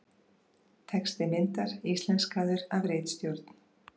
Texti myndar íslenskaður af ritstjórn.